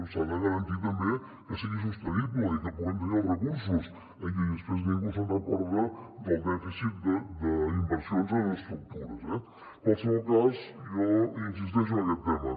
s’ha de garantir també que sigui sostenible i que puguem tenir els recursos i després ningú se’n recorda del dèficit d’inversions en estructures eh en qualsevol cas jo insisteixo en aquest tema